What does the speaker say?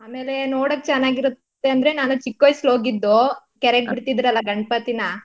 ಆಮೇಲೆ ನೋಡಕ್ ಚನಾಗಿರುತ್ತೆ ಅಂದ್ರೆ ನಾನ್ ಚಿಕ್ವಾಯ್ಸಲ್ ಹೋಗಿದ್ದು ಕೆರೆಗ್ ಬಿಡ್ತಿದ್ರೆಲ್ಲಾ ಗಣಪತಿನಾ.